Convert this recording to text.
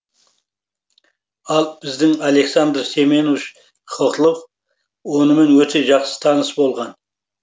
ал біздің александр семенович хохлов онымен өте жақсы таныс болған